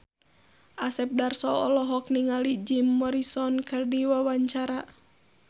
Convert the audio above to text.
Asep Darso olohok ningali Jim Morrison keur diwawancara